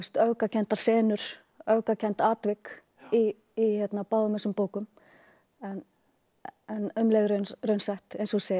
öfgakenndar senur öfgakennd atvik í báðum þessum bókum en um leið raunsætt eins og þú segir